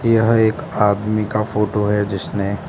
यह एक आदमी का फोटो है जिसने --